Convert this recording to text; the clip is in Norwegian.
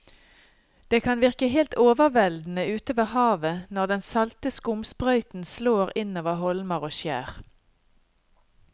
Det kan virke helt overveldende ute ved havet når den salte skumsprøyten slår innover holmer og skjær.